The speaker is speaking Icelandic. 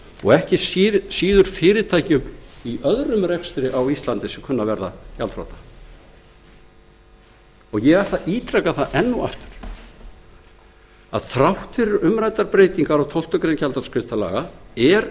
og ekki síður fyrirtækjum í öðrum rekstri á íslandi sem kunna að verða gjaldþrota það skal ítrekað að þrátt fyrir umræddar breytingar á ákvæðum tólftu greinar gjaldþrotaskiptalaga er